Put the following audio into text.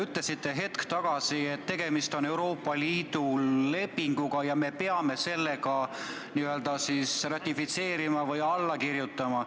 Te ütlesite hetk tagasi, et tegemist on Euroopa Liidu lepinguga ja me peame selle ratifitseerima või sellele alla kirjutama.